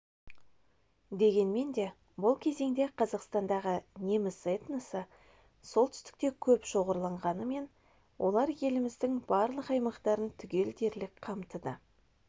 дегенмен де бұл кезеңде қазақстандағы неміс этносы солтүстікте көп шоғырланғанымен олар еліміздің барлық аймақтарын түгел дерлік қамтыды